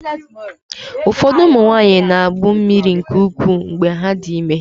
Ụfọdụ ụmụ nwanyị na-agbụ mmiri nke ukwuu mgbe ha dị ime.